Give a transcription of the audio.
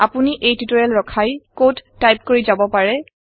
আপোনি এই টিওটৰিয়েল ৰখাই কড টাইপ কৰি যাব পাৰে